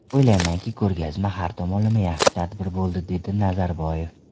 O‘ylaymanki, ko‘rgazma har tomonlama yaxshi tadbir bo‘ldi”, dedi Nazarboyev.